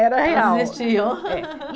Era real. Existiam É